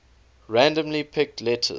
randomly picked letters